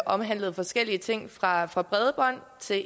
omhandlede forskellige ting fra fra bredbånd til